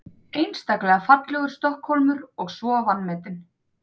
Einstaklega fallegur Stokkhólmur og svo vanmetinn.